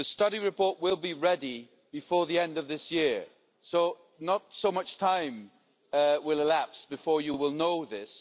The study report will be ready before the end of this year, so not so much time will elapse before you will know this.